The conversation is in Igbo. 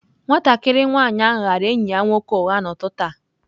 Nwatakịrị nwanyị ahụ ghaara enyi ya nwoke ụgha n'ụtụtụ a.